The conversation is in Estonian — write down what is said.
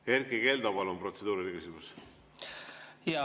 Erkki Keldo, palun, protseduuriline küsimus!